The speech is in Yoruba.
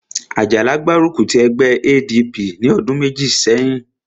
Àjàlá gbárùkù ti ẹgbẹ́ ADP ní ọdún méjì sẹ́yìn